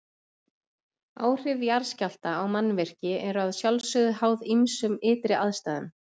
Áhrif jarðskjálfta á mannvirki eru að sjálfsögðu háð ýmsum ytri aðstæðum.